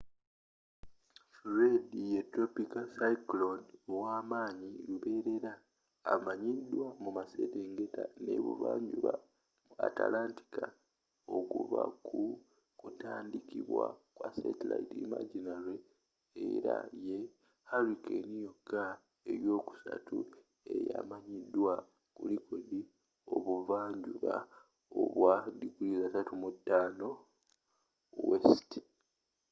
fred ye tropiko cyclone ow'amaanyi luberera amanyiddwa mu maserengeta n'ebuvanjuba mu antlantic okuva ku kutandika kwa satellite imagery era ye hurricane yokka eyokusatu eyamaanyi ku likodi ebuva njuba obwa 35 °w